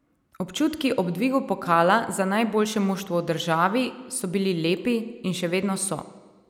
Občutki ob dvigu pokala za najboljše moštvo v državi so bili lepi in še vedno so.